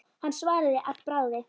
Hann svaraði að bragði.